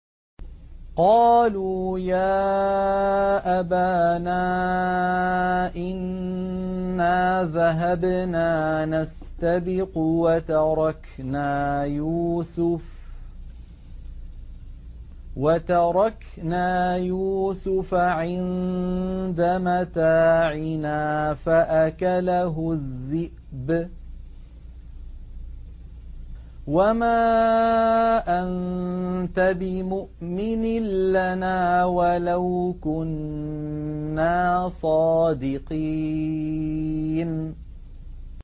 قَالُوا يَا أَبَانَا إِنَّا ذَهَبْنَا نَسْتَبِقُ وَتَرَكْنَا يُوسُفَ عِندَ مَتَاعِنَا فَأَكَلَهُ الذِّئْبُ ۖ وَمَا أَنتَ بِمُؤْمِنٍ لَّنَا وَلَوْ كُنَّا صَادِقِينَ